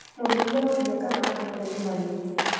Mũrugi aroria kana andũothe nĩ marĩte